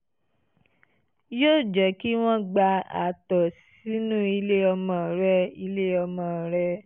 yóò jẹ́ kí wọ́n gba àtọ̀ sínú ilé ọmọ rẹ ilé ọmọ rẹ